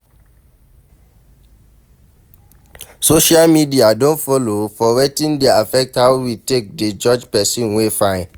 Social media don follow for wetin dey affect how we take dey judge person wey fine